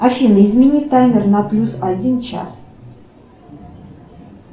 афина измени таймер на плюс один час